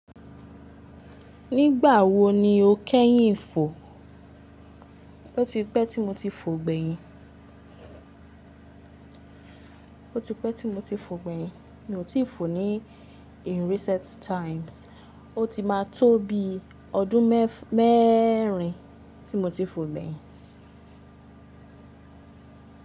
Nígbà wo ni o kẹ́yìn fò? Ó ti pẹ́ tí mo ti fò gbẹ̀yìn. Ó ti pẹ́ tí mo ti fò gbẹ̀yìn. Mi ò tí fò ní in recent times. Ó ti máa tó bi ọdún mẹ́ẹ́rin tí mo ti fò gbẹ̀yìn.